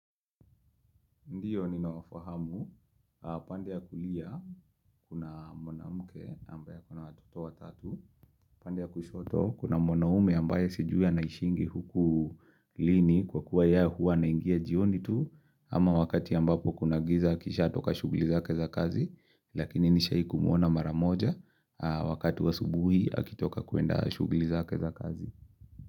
Ndiyo ninawafahamu, pande ya kulia kuna mwanamke ambaye ako na watoto watatu, upande wa kushoto kuna mwanaume ambaye sijui anaishingi huku lini kwa kuwa yeye huwa anaingia jioni tu, ama wakati ambapo kuna giza akishatoka shughuli zake za kazi, lakini nishaikumwona mara moja, wakati wa asubuhi akitoka kuenda shughuli zake za kazi.